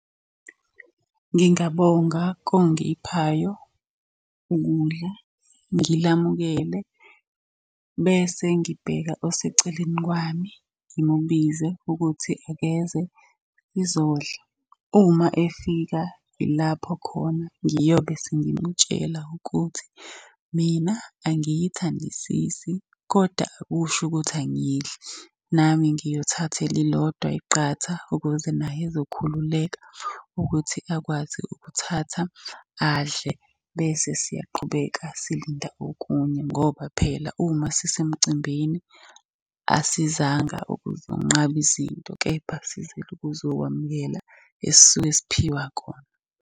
Ngingabonga kongiphayo ukudla, ngilamukele bese ngibheka oseceleni kwami ngimubize ukuthi akeze sizodla. Uma efika yilapho khona ngiyobe sengimutshela ukuthi mina angiyithandisisi kodwa akusho ukuthi angiyidli. Nami ngiyothatha elilodwa iqatha ukuze naye ezokhululeka ukuthi akwazi ukuthatha adle. Bese siyaqhubeka silinda okunye ngoba phela uma sisemcimbini asizanga ukuzonqaba izinto, kepha sizile ukuzokwamukela esisuke siphiwa khona.